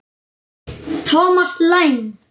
Thomas Lang